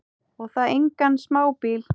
Og það engan smábíl.